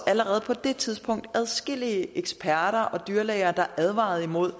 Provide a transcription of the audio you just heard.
allerede på det tidspunkt adskillige eksperter og dyrlæger der advarede imod